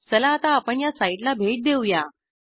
चला आता आपण या साईटला भेट देऊया